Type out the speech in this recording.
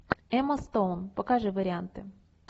эмма стоун покажи варианты